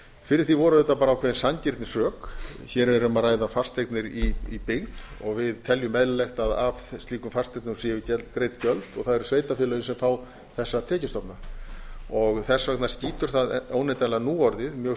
fyrir því voru bara ákveðin sanngirnisrök hér er um að ræða fasteignir í byggð og við teljum eðlilegt að af slíkum fasteignum séu greidd gjöld og það eru sveitarfélögin sem fá þessa tekjustofna þess skýtur það óneitanlega nú orðið mjög